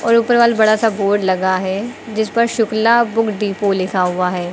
और ऊपर वाल बड़ा सा बोर्ड लगा है जिस पर शुक्ला बुक डिपो लिखा हुआ है।